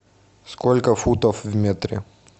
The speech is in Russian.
сколько футов в метре